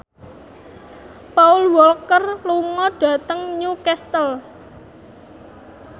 Paul Walker lunga dhateng Newcastle